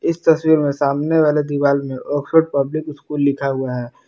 इस तस्वीर में सामने वाले दीवार में ऑक्सफोर्ड पब्लिक स्कूल लिखा हुआ है।